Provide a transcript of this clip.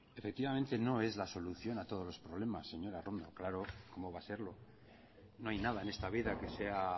efectivamente no es la solución a todos los problemas señora arrondo claro cómo va a serlo no hay nada en esta vida que sea